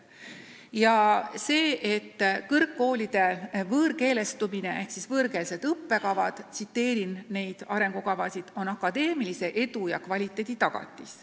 Märgitakse, et kõrgkoolide võõrkeelestumine ehk siis võõrkeelsed õppekavad on – tsiteerin neid arengukavasid – "akadeemilise edu ja kvaliteedi tagatis".